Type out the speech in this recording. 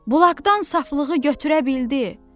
Bulaqdan saflığı götürə bildi.